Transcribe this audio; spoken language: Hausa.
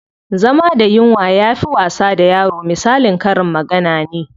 Zama da yunwa yafi wasa da yaro misalin karin magana ne.